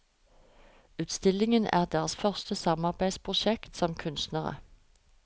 Utstillingen er deres første samarbeidsprosjekt som kunstnere.